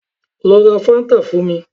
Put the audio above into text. Lọ ra fáńtà fún mi